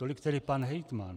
Tolik tedy pan hejtman.